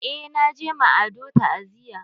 Eh na je ma Ado ta'aziya.